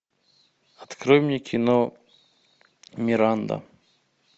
открой мне кино миранда